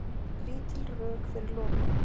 Lítil rök fyrir lokun